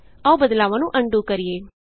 ਆਉ ਬਦਲਾਵਾਂ ਨੂੰ ਅਨਡੂ ਕਰੀਏ